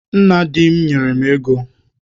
Nna di m nyere m ego.